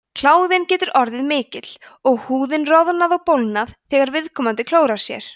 kláðinn getur orðið mikill og húðin roðnað og bólgnað þegar viðkomandi klórar sér